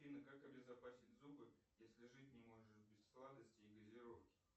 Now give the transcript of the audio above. афина как обезопасить зубы если жить не можешь без сладостей и газировки